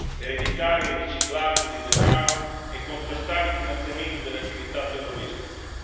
per evitare il riciclaggio di denaro e contrastare il finanziamento delle attività terroristiche.